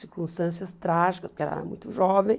Circunstâncias trágicas, porque ela era muito jovem.